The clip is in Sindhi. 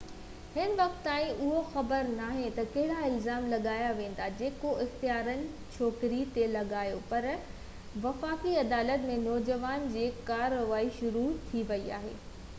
هن وقت تائين اهو خبر ناهي ته ڪهڙا الزام لاڳايا ويندا جيڪو اختيارين ڇوڪري تي لڳايون پر وفاقي عدالت ۾ نوجوانن جي ڪارروائي شروع ٿي وئي آهي